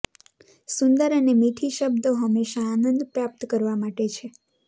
સુંદર અને મીઠી શબ્દો હંમેશા આનંદ પ્રાપ્ત કરવા માટે છે